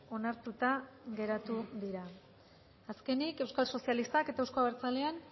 onartuta geratu dira azkenik euskal sozialistak eta euzko abertzaleen